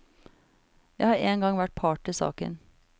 Jeg har engang vært part i saken.